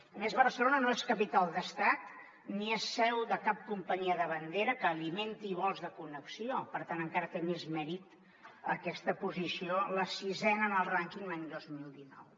a més barcelona no és capital d’estat ni és seu de cap companyia de bandera que alimenti vols de connexió per tant encara té més mèrit aquesta posició la sisena en el rànquing l’any dos mil dinou